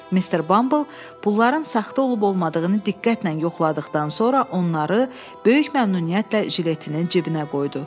Mister Bumble pulların saxta olub olmadığını diqqətlə yoxladıqdan sonra onları böyük məmnuniyyətlə jiletinin cibinə qoydu.